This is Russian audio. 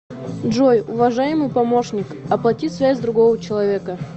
джой уважаемый помощник оплати связь другого человека